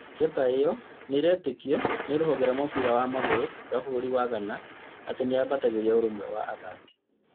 Njata ĩyo nĩretĩkio nĩ rũhonge rwa mũbira wa magũrũ rwa bũrũri wa Ghana atĩ nĩyambatagĩria ũrũmwe wa athaki